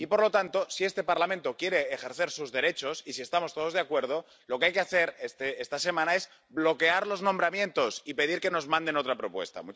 Por lo tanto, si este Parlamento quiere ejercer sus derechos y si estamos todos de acuerdo, lo que hay que hacer esta semana es bloquear los nombramientos y pedir que nos manden otra propuesta.